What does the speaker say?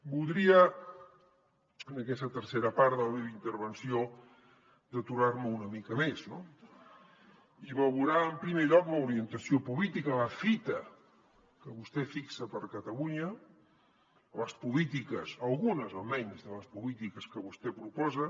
voldria en aquesta tercera part de la meva intervenció d’aturar me una mica més no i veurà en primer lloc l’orientació política la fita que vostè fixa per catalunya les polítiques algunes almenys de les polítiques que vostè proposa